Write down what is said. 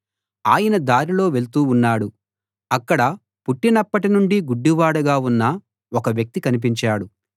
ఆయన దారిలో వెళ్తూ ఉన్నాడు అక్కడ పుట్టినప్పటి నుండీ గుడ్డివాడుగా ఉన్న ఒక వ్యక్తి కనిపించాడు